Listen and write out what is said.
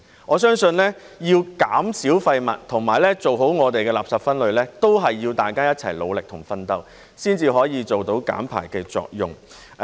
我相信，要減少廢物及做好垃圾分類，都是要大家一齊努力及奮鬥，才可以做到減排的作用。